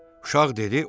Uşaq dedi: